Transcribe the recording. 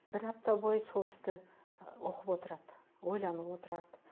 бір апта бойы сол істі оқып отырады ойланып отырады